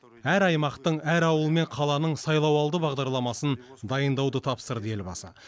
әр аймақтың әр ауыл мен қаланың сайлауалды бағдарламасын дайындауды тапсырды елбасы